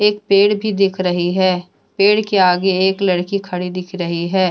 पेड़ भी दिख रही है पेड़ के आगे एक लड़की खड़ी दिख रही है।